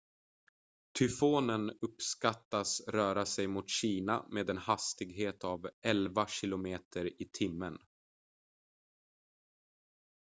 tyfonen uppskattas röra sig mot kina med en hastighet av elva kilometer i timmen